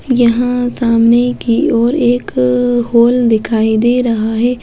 यहाँ सामने की ओर एक होल दिखाई दे रहा हैं।